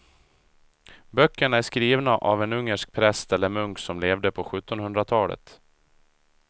Böckerna är skrivna av en ungersk präst eller munk som levde på sjuttonhundratalet.